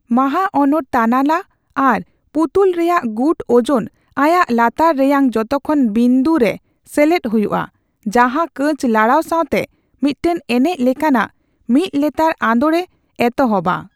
ᱢᱟᱦᱟᱚᱱᱚᱨ ᱛᱟᱱᱟᱞᱟ ᱟᱨ ᱯᱩᱛᱩᱞ ᱨᱮᱭᱟᱜ ᱜᱩᱴ ᱳᱡᱚᱱ ᱟᱭᱟᱜ ᱞᱟᱛᱟᱨ ᱨᱮᱭᱟᱝ ᱡᱚᱛᱚᱠᱷᱚᱱ ᱵᱤᱱᱫᱩ ᱨᱮ ᱥᱮᱞᱮᱫ ᱦᱩᱭᱩᱜᱼᱟ, ᱡᱟᱦᱟᱸ ᱠᱟᱹᱪ ᱞᱟᱲᱟᱣ ᱥᱟᱣᱛᱮ ᱢᱤᱫᱴᱮᱱ ᱮᱱᱮᱪ ᱞᱮᱠᱟᱱᱟᱜ ᱢᱤᱫᱞᱮᱛᱟᱲ ᱟᱸᱫᱳᱲ ᱮ ᱮᱛᱚᱦᱚᱵᱼᱟ ᱾